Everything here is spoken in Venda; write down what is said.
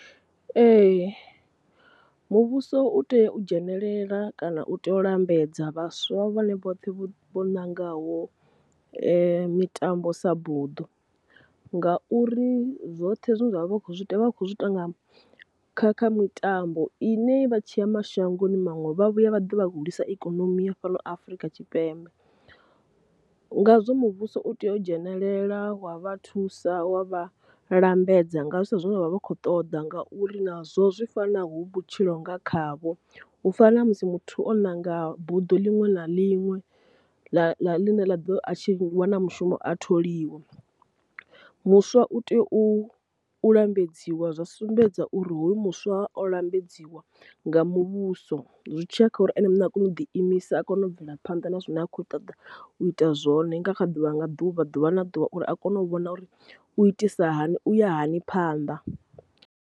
Ee, muvhuso u tea u dzhenelela kana u tea u lambedza vhaswa vhane vhoṱhe vho vho nangaho mitambo sa buḓo, ngauri zwoṱhe zwine zwavha zwi kho zwi ita kha kha mitambo ine vha tshiya mashangoni maṅwe vha vhuya vha ḓa vha hulisa ikonomi ya fhano Afrika Tshipembe. Ngazwo muvhuso u tea u dzhenelela wa vha thusa wa vha lambedza nga zwi sa zwine vhavha vha khou ṱoḓa ngauri nazwo zwi fana hu vhutshilo nga khavho, u fana na musi muthu o ṋanga buḓo ḽinwe na ḽinwe ḽa ḽa ḽi ne ḽa ḓo atshi wana mushumo a tholiwa. Muswa u tea u u lambedziwa zwa sumbedza uri hoyu muswa wa o lambedziwa nga muvhuso zwi tshiya kha uri ene muṋe a kone u ḓi imisa a kone u bvela phanḓa na zwine a khou ṱoḓa u ita zwone nga kha ḓuvha nga ḓuvha ḓuvha na ḓuvha uri a kone u vhona uri u itisa hani u ya hani phanḓa.